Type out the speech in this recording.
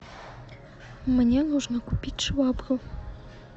мне нужно купить швабру